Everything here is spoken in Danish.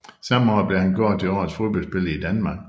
Samme år blev han kåret til Årets fodboldspiller i Danmark